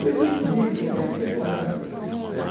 Serviço bico, serviço temporário.